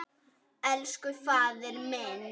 Elsku faðir minn.